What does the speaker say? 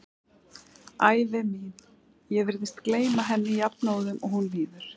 Ævi mín, ég virðist gleyma henni jafnóðum og hún líður.